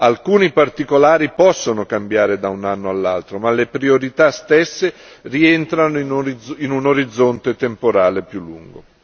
Alcuni particolari possono cambiare da un anno all'altro, ma le priorità stesse rientrano in un orizzonte temporale più lungo.